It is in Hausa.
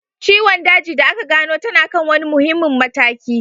Ciwon daji da aka gano tana kan wani muhimmin mataki